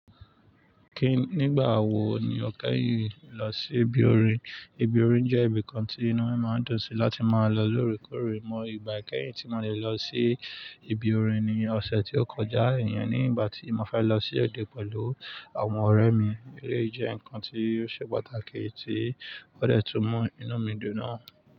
Kí nígbà wò ní o kẹ́yìn lọ sí ibi orin? Ibi orin jẹ́ ibi kan tí inú ẹ máa ń dùn sí láti máa lọ lòòrèkórè mọ́. Ìgbà kẹ́yìn tí mo lè lọ sí ibi orin ni ọ̀sẹ̀ tí ó kọjá, iyẹn ni ìgbà tí mo fẹ́ lọ sí òde pẹ̀lú àwọn ọ̀rẹ́ mi. Elé jẹ́ ǹkan tí ó ṣe pàtàkì tí ó dẹ́tù mú inú mi dùn náà.